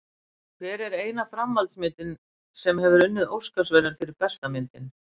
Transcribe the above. Hver er eina framhaldsmyndin sem hefur unnið Óskarsverðlaun fyrir bestu myndina?